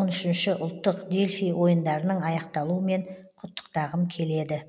он үшінші ұлттық дельфий ойындарының аяқталуымен құттықтағым келеді